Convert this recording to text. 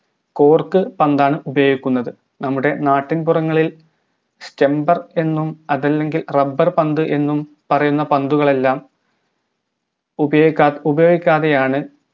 cork കൊണ്ടാണ് ഉപയോഗിക്കുന്നത് നമ്മുടെ നാട്ടിൻ പുറങ്ങളിൽ stumper എന്നും അതല്ലെങ്കിൽ rubber പന്ത് എന്നും പറയുന്ന പന്തുകളെല്ലാം ഉപയോഗിക്കത് ഉപയോഗിക്കാതെയാണ്